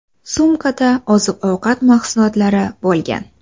Sumkada oziq-ovqat mahsulotlari bo‘lgan.